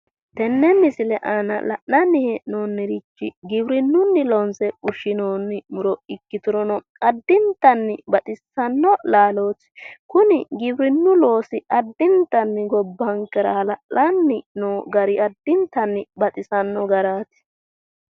Tenne misile aanna la'nanni hee'noonnirichi giwirinunni loonse fushinoonni Muro ikkiturono adintanni baxissano laallooti kunni giwirinu loosi adintanni gobbankera halla'lanni noo gari adintanni baxissano garaati.